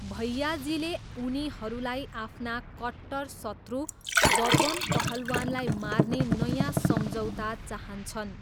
भैयाजीले उनीहरूलाई आफ्ना कट्टर शत्रु बबन पहलवानलाई मार्ने नयाँ सम्झौता चाहन्छन्।